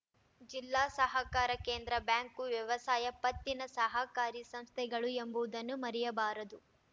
ಜಿಲ್ಲಾ ಸಹಕಾರ ಕೇಂದ್ರ ಬ್ಯಾಂಕ್‌ ವ್ಯವಸಾಯ ಪತ್ತಿನ ಸಹಕಾರಿ ಸಂಸ್ಥೆಗಳು ಎಂಬುವುದನ್ನು ಮರೆಯಬಾರದು